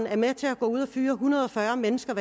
er med til at gå ud at fyre en hundrede og fyrre mennesker